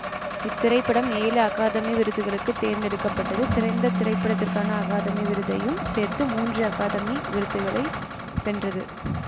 இத்திரைப்படம் ஏழு அகாதமி விருதுகளுக்கு தேர்ந்தெடுக்க பட்டது சிறந்த திரைப்படத்திற்கான அகாதமி விருதையும் சேர்த்து மூன்று அகாதமி விருதுகளை வென்றது